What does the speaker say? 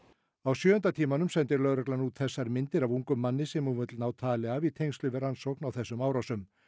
á sjöunda tímanum sendi lögreglan út þessar myndir af ungum manni sem hún vill ná tali af í tengslum við rannsókn á þessum árásum